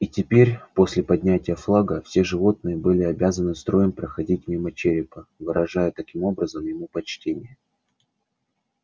и теперь после поднятия флага все животные были обязаны строем проходить мимо черепа выражая таким образом ему почтение